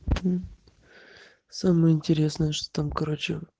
самое интересное что там короче